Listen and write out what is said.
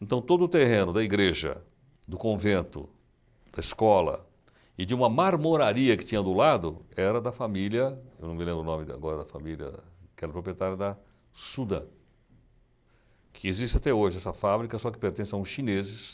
Então, todo o terreno da igreja, do convento, da escola e de uma marmoraria que tinha do lado era da família, eu não me lembro o nome de agora da família, que era proprietária da Sudan, que existe até hoje essa fábrica, só que pertence a uns chineses